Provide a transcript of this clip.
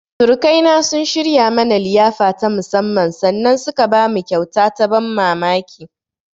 Surukaina sun shirya mana liyafa ta musammman sannan suka bamu kyauta ta ban mamamki.